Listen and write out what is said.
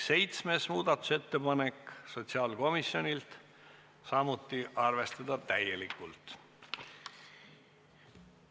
Ka muudatusettepanek nr 7 on sotsiaalkomisjonilt, samuti on ettepanek seda arvestada täielikult.